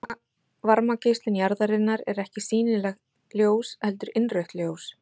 Varmageislun jarðarinnar er ekki sýnilegt ljós heldur innrautt ljós.